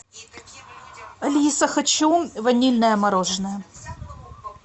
алиса хочу ванильное мороженое